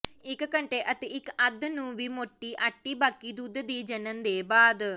ਇਕ ਘੰਟੇ ਅਤੇ ਇੱਕ ਅੱਧ ਨੂੰ ਵੀ ਮੋਟੀ ਆਟੇ ਬਾਕੀ ਦੁੱਧ ਦੀ ਜਣਨ ਦੇ ਬਾਅਦ